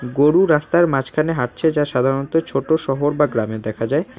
গরু রাস্তার মাঝখানে হাঁটছে যা সাধারণত ছোট শহর বা গ্রামে দেখা যায়।